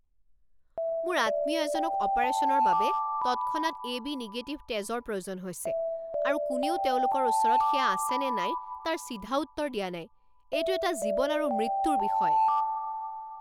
মোৰ আত্মীয় এজনক অপাৰেশ্যনৰ বাবে তৎক্ষণাত এবি নিগেটিভ তেজৰ প্ৰয়োজন হৈছে আৰু কোনেও তেওঁলোকৰ ওচৰত সেয়া আছেনে নাই তাৰ চিধা উত্তৰ দিয়া নাই। এইটো এটা জীৱন আৰু মৃত্যুৰ বিষয়!